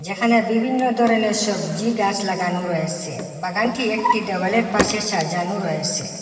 যেখানে বিভিন্ন ধরনের সবজি গাস লাগানু রয়েসে বাগানটি একটি দেওয়ালের পাশে সাজানু রয়েসে।